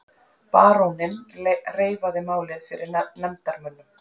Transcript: Baróninn reifaði málið fyrir nefndarmönnum.